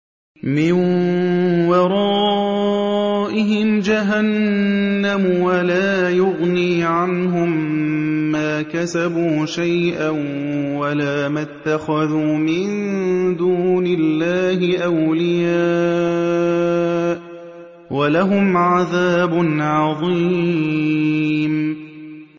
مِّن وَرَائِهِمْ جَهَنَّمُ ۖ وَلَا يُغْنِي عَنْهُم مَّا كَسَبُوا شَيْئًا وَلَا مَا اتَّخَذُوا مِن دُونِ اللَّهِ أَوْلِيَاءَ ۖ وَلَهُمْ عَذَابٌ عَظِيمٌ